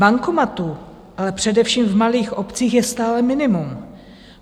Bankomatů ale především v malých obcích je stále minimum.